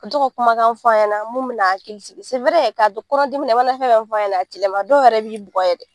to ka kumakan fɔ a ɲɛna mun bɛn'a hakili sigi k'a to kɔnɔ dimina i mana fɛn fɛn f'a ɲɛna a ti laban dɔw yɛrɛ b'i bugɔ yɛrɛ.